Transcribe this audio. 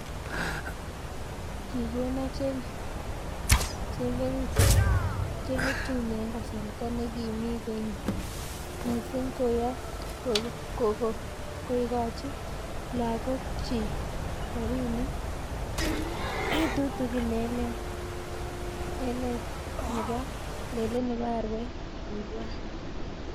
Kikonoo chengetune eng kasarta nekimi koinyi missing koyo koikoch lagokchi robinik tutugin eng let nebo arawet, kiibwat